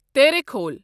تیریکھول